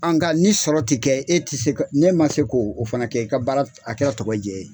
nga ni sɔrɔ tɛ kɛ e tɛ se ka n'e ma se ko o fana kɛ i ka baara a kɛra tɔkajɛn ye.